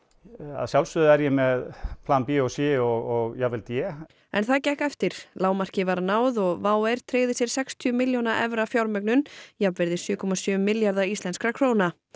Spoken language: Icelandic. að sjálfsögðu er ég með plan b og c og jafnvel d en það gekk eftir lágmarki var náð og WOW air tryggði sér sextíu milljóna evra fjármögnun jafnvirði sjö komma sjö milljarða íslenskra króna